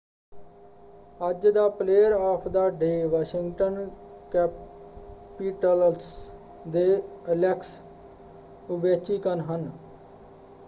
ਅੱਜ ਦਾ player of the day Washington Capitals ਦੇ ਐਲੈਕਸ ਓਵੇਚਕਿਨ ਹੈ।